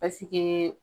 Pasike